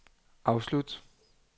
afslut